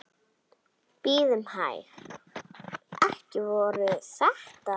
Bíðum hæg. ekki voru þetta?